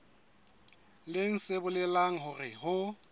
leng se bolelang hore ho